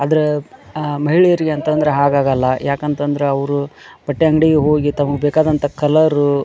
ಅದ್ರ ಮಹಿಳೆಯರಿಗೆ ಅಂತಂದ್ರೆ ಹಾಗ್ ಆಗೋಲ್ಲ ಯಾಕೆಅಂತಂದ್ರ ಅವ್ರು ಬಟ್ಟೆ ಅಂಗಡಿಗೆ ಹೋಗಿ ತಮಗೆ ಬೇಕಾಂದಂತಹ ಕಲರ್ --